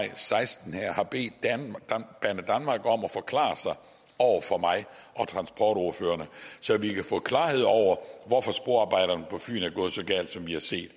og seksten har bedt banedanmark om at forklare sig over for mig og transportordførerne så vi kan få klarhed over hvorfor sporarbejderne på fyn er gået så galt som vi har set